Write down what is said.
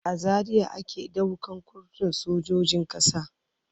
A Zaria ake ɗaukan kurtun sojojin ƙasa.